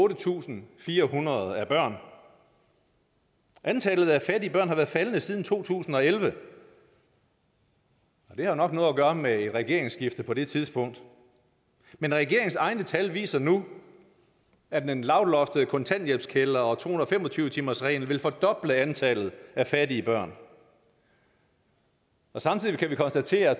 tusind fire hundrede er børn antallet af fattige børn har været faldende siden to tusind og elleve og det har nok noget at gøre med et regeringsskifte på det tidspunkt men regeringens egne tal viser nu at den lavloftede kontanthjælpskælder og to hundrede og fem og tyve timersreglen vil fordoble antallet af fattige børn samtidig kan vi konstatere